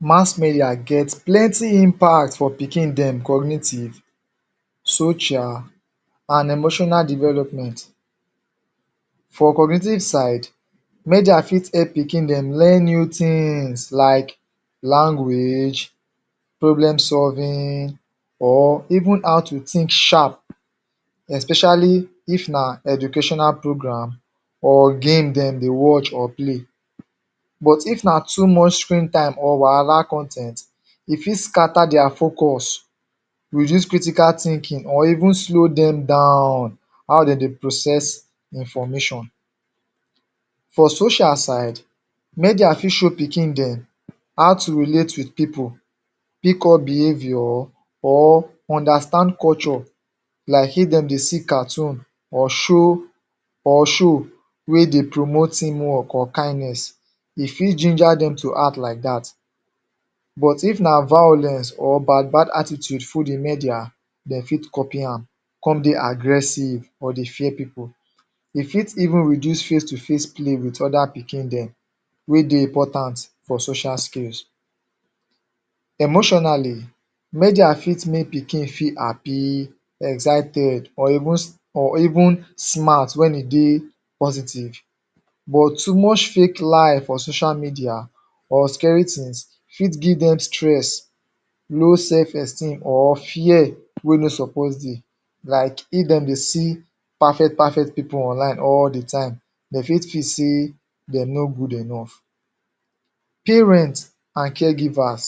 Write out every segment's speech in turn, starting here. Mass media get plenti impact for pikin dem cognitive, social, and emotional development For cognitive side, media fit help pikin dem learn new tins like language, problem-solving, or even how to tink sharp especially if na educational program, or game dem dey watch or play. But if na too much screen time or wahara con ten t, e fit scatter their focus, reduce critical thinking or even slow dem down, how dem dey process information For social side, media fit show pikin dem how to relate wit pipu pick up behavior, or understand culture like if dem dey see cartoon or show or show wey dey promote team work or kindness. E fit ginger dem to act like dat. But if na violence or bad bad attitude full di media, dem fit copy am. come dey aggressive or dey fear pipu. E fit even reduce face-to-face play wit oda pikin dem wey dey important for social skills. Emotionally, media fit make pikin feel happi excited or even s, or even smart wen e dey positive But too much fake life for social media or scary tins fit give dem stress low sef esteem or fear wey no suppose dey like if dem dey see perfect perfect pipu online all di time, dem fit tink sey dem no good enough Parent and caregivers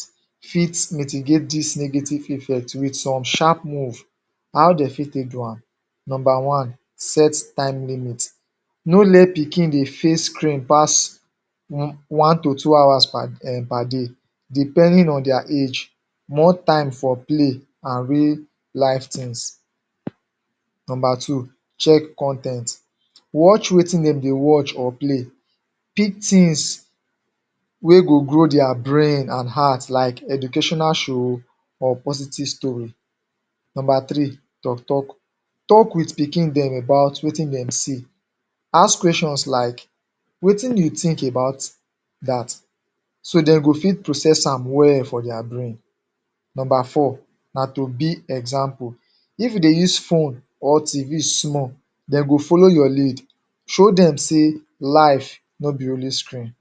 fit mitigate dis negative effect wit some sharp move How dem fit take do am? Nomba one, set time limit No let pikin dey face screen pass um one to two hours per em per day depending on their age, more time for play and real life tins Nomba two, check con ten t: Watch wetin dem dey watch or play Pick tins wey go grow their brain and heart like educational show or positive story. Nomba three, tok tok Tok wit pikin dem about wetin dem see. Ask questions like: Wetin you tink about dat?, so dem go fit process am well for their brain Nomba four na to be example. If you dey use phone or TV small, dem go follow your lead Show dem sey life no be only screen